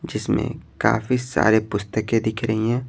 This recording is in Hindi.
जिसमें काफी सारे पुस्तकें दिख रही हैं।